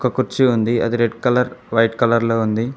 ఓ కుర్చీ ఉంది అది రెడ్ కలర్ వైట్ కలర్ లో ఉంది.